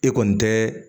E kɔni tɛ